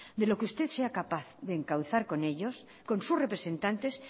de lo que usted sea capaz de encauzar con ellos con sus representantes